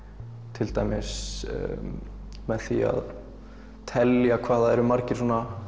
til dæmis með því að telja hvað það eru margir